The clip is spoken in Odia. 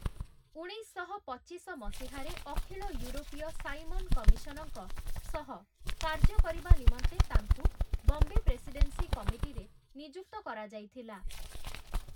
ଉଣେଇଶଶହ ପଚିଶ ମସିହାରେ ଅଖିଳ ୟୁରୋପୀୟ ସାଇମନ କମିଶନଙ୍କ ସହ କାର୍ଯ୍ୟ କରିବା ନିମନ୍ତେ ତାଙ୍କୁ ବମ୍ବେ ପ୍ରେସିଡେନ୍ସି କମିଟିରେ ନିଯୁକ୍ତ କରାଯାଇଥିଲା ।